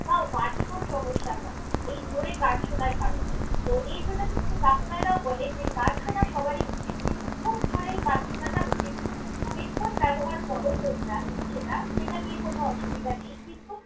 বা vertigo এর সমস্যা হয় এই জোরে গান শোনার কারণে। তো এই জন্য কিন্তু ডাক্তারাও বলে গান শোনা সবারই উচিত কিন্তু, খুব জোরে গান শোনাটা উচিত নয়। headphone ব্যবহার কর তোমরা সেটা সেটা নিয়ে কোনো অসুবিধা নেই, কিন্তু।